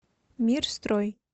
мир строй